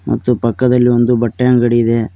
ಮತ್ತು ಪಕ್ಕದಲ್ಲಿ ಒಂದು ಬಟ್ಟೆ ಅಂಗಡಿ ಇದೆ.